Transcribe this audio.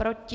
Proti?